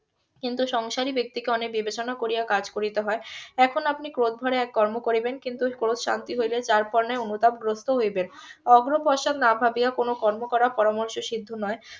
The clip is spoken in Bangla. কিন্তু সংসারী ব্যাক্তিকে অনেক বিবেচনা করিয়া কাজ করিতে হয় এখন আপনি ক্রোধ ধরে এক কর্ম করিবেন কিন্তু ক্রোধ শান্তি হইলেই যার পরনাই অনুতাপ গ্রস্থ হইবেন অগ্র পশ্চাৎ না ভাবিয়া কোনো কর্ম করা পরামর্শ সিদ্ধ নয়